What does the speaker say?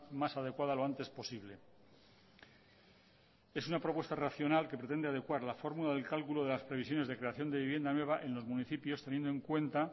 más adecuada lo antes posible es una propuesta racional que pretende adecuar la fórmula de cálculo las previsiones de creación de vivienda nueva en los municipios teniendo en cuenta